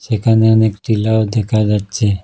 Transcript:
এখানে অনেক টিলাও দেখা যাচ্ছে।